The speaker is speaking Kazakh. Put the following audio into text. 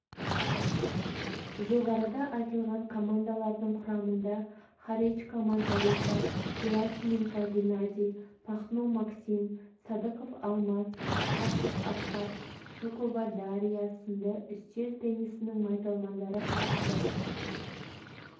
жоғарыда айтылған командалардың құрамында харечко маргарита герасименко геннадий пахно максим садықов алмаз ысқақов асқат жукова дарья сынды үстел теннисінің майталмандары қатысты